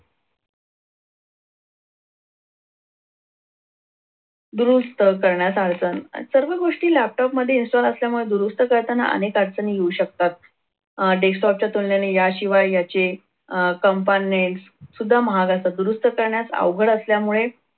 दुरुस्त करण्यास अडचण या सर्व गोष्ट सर्व गोष्टी laptop मध्ये install असल्यामुळे दुरुस्त करताना अनेक अडचणी येऊ शकतात. अह desktop च्या तुलनेने याशिवाय याचे अह सुद्धा महाग असतात. दुरुस्त करण्यास अवघड असल्यामुळे